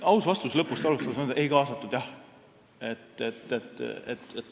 Aus vastus, lõpust alustades, on selline: ei kaasatud jah.